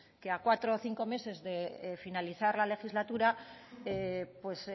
que a cuatro o cinco meses de finalizar la legislatura pues